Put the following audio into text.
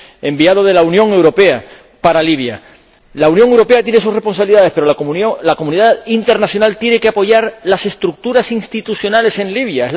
enviado de la Unión Europea para Libia. La Unión Europea tiene sus responsabilidades, pero la comunidad internacional tiene que apoyar las estructuras institucionales en Libia.